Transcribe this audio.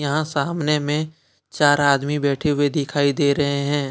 यहां सामने में चार आदमी बैठे हुए दिखाई दे रहे हैं।